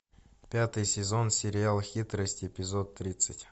пятый сезон сериал хитрость эпизод тридцать